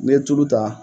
N'i ye tulu ta